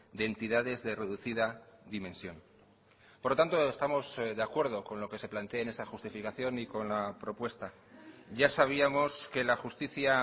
de entidades de reducida dimensión por lo tanto estamos de acuerdo con lo que se plantea en esa justificación y con la propuesta ya sabíamos que la justicia